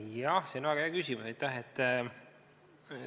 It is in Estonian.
Jah, see on väga hea küsimus, aitäh!